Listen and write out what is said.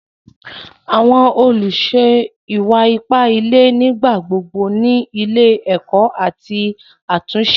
Àwọn olúṣè ìwà-ìpà ìlẹ̀ nígbàgbogbo ní ilọ̀ èkó àti àtúnṣe.